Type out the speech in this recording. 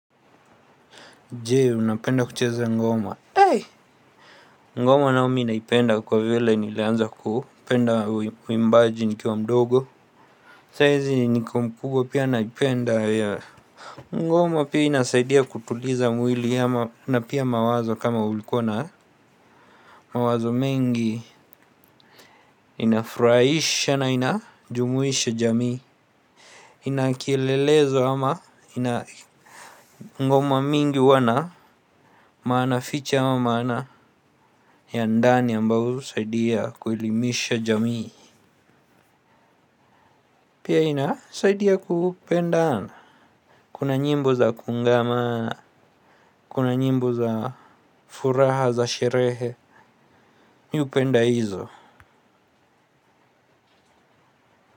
Je? Unapenda kucheza ngoma? Eeh! Ngoma nayo mi naipenda kwa vile, nilianza kupenda uimbaji nikiwa mdogo. Sai hizi, niko mkubwa pia naipenda ya. Ngoma pia inasaidia kutuliza mwili ama na pia mawazo kama ulikuwa nayo. Mawazo mengi, inafuraisha na inajumuisha jamii. Inakielelezo ama ina--, ngoma mingi huwa na. Maana fiche, ama maana ya ndani ambayo usaidia kuelimisha jamii. Pia, inasaidia kupendana. Kuna nyimbo za kungaana, kuna nyimbo za furaha za sherehe, mi upenda hizo.